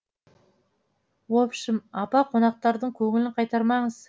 общым апа қонақтардың көңілін қайтармаңыз